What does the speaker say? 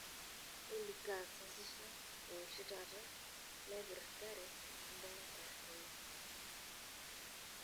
olly kaa sasisha ee oshi taata naipirrtare kimbunga katrina